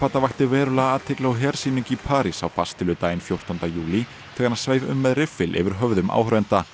vakti verulega athygli á hersýningu í París á fjórtánda júlí þegar hann sveif um með riffil yfir höfðum áhorfenda